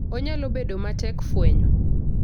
Onyalo bedo matek fwenyo.